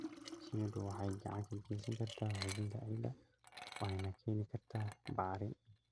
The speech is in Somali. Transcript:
Shinnidu waxay gacan ka geysan kartaa xoojinta ciidda waxayna keeni kartaa bacrin.